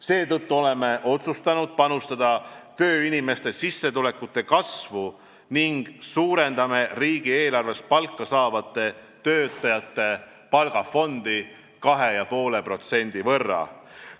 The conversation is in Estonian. Seetõttu oleme otsustanud panustada tööinimeste sissetulekute kasvu ning suurendame riigieelarvest palka saavate töötajate palgafondi 2,5% võrra.